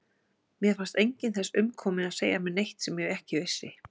Mér fannst enginn þess umkominn að segja mér neitt sem ég ekki vissi.